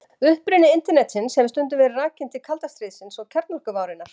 uppruni internetsins hefur stundum verið rakinn til kalda stríðsins og kjarnorkuvárinnar